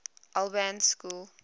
albans school